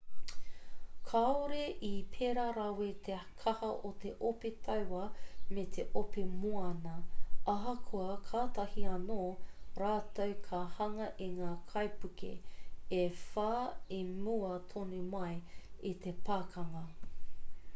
kāore i pēra rawa te kaha o te ope taua me te ope moana ahakoa kātahi anō rātou ka hanga i ngā kaipuke e whā i mua tonu mai i te pakanga